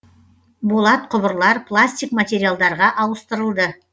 болат құбырлар пластик материалдарға ауыстырылды